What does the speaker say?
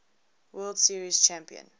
world series champion